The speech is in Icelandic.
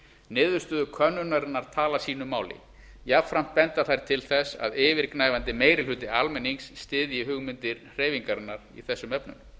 niðurstöður könnunarinnar tala sýnu máli jafnframt benda þær til þess að yfirgnæfandi meiri hluti almennings styðji hugmyndir hreyfingarinnar í þessum efnum